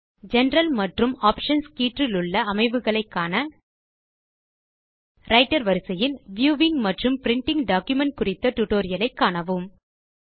பொது மற்றும் தேர்வுகள் கீற்றிலுள்ள அமைவுகளை காண ரைட்டர் வரிசையில் வியூவிங் மற்றும் பிரின்டிங் டாக்குமென்ட்ஸ் குறித்த டியூட்டோரியல் ஐ காணவும்